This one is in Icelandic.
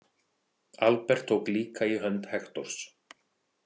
Albert tók líka í hönd Hektors.